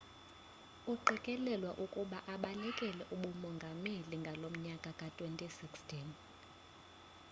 uqikelelwa ukuba abalekele ubumongameli ngonyaka ka-2016